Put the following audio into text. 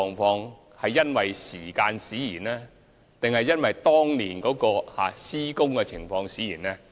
是因為時間使然，還是當年的施工使然？